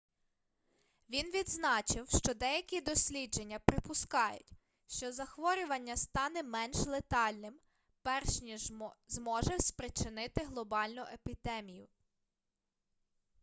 він відзначив що деякі дослідження припускають що захворювання стане менш летальним перш ніж зможе спричинити глобальну епідемію